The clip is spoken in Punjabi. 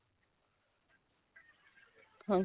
ਹਾਂਜੀ